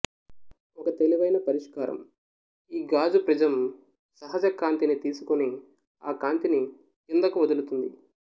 ఒక తెలివైనపరిష్కారంఈగాజు ప్రిజం సహజ కంతిని తిసుకొని ఆ కాంతిని క్రిందకు వదులుతుంది